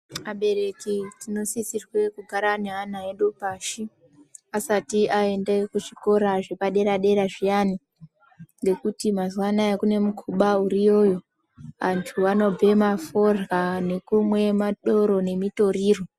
Abereki tinosisirwe kugara neana edu pashi asati aende kuzvikora zvepadera dera zviyani ngekuti mazuwaanaya kune mukuba uriyo iyo andu anobhema forya nekumwe madoro nemitoriro .